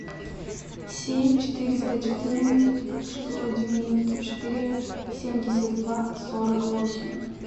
семь четыреста четырнадцать шестьсот девяносто четыре семьдесят два сорок восемь